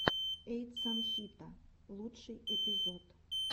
эйтсан хита лучший эпизод